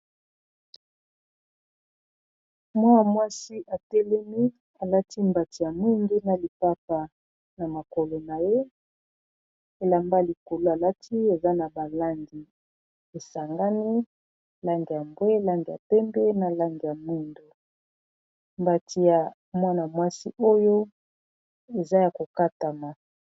Mwa-mwasi atelemi alati mbati ya mwindu na lipapa na makolo na ye elamba likolo alati eza na ba langi esangani langi ya mbwe langi ya pembe na langi ya mwindu mbati ya mwana-mwasi oyo eza ya kokatama.